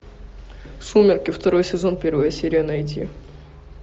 сумерки второй сезон первая серия найти